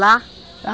Lá? Lá